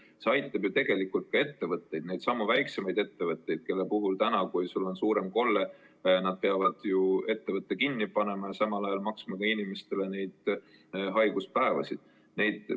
Aga see aitab ju tegelikult ka ettevõtteid, neidsamu väikesi ettevõtteid, kes praegu peavad suurema kolde korral uksed kinni panema ja samal ajal maksma inimestele haiguspäevade eest hüvitist.